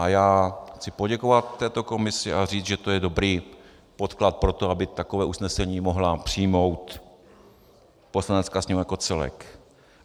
A já chci poděkovat této komisi a říct, že to je dobrý podklad pro to, aby takové usnesení mohla přijmout Poslanecká sněmovna jako celek.